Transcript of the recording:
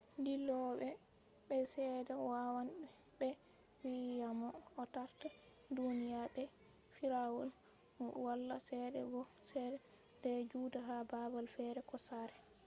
dillowo be piles be cede wawan be vi`a mo o tarta duniya mai be firawaul mu wala cede bo sai dea juda ha babal fere ko sare